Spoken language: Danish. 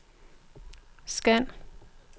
scan